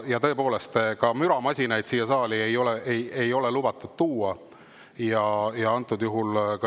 Ja ka müramasinaid ei ole lubatud siia saali tuua.